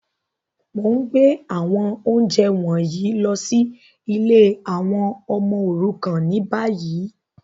Mo n gbé àwọn ounjẹ wọ̀nyí lọ si ìlé àwon ọmọ òrukàn ni bayi.